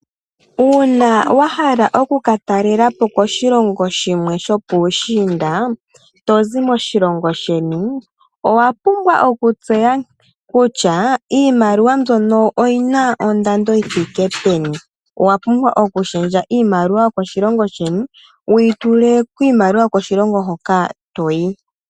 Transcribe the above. Uuna wa hala oku ka talela po koshilongo shimwe sho puushinda to zi moshilongo sheni, owa pumbwa okutseya kutya iimaliwa mbyono oyina ondando yi thike peni. Owa pumbwa okulundulula iimaliwa yokoshilongo sheni wuyi tule miimaliwa yokoshilongo hoka toyi.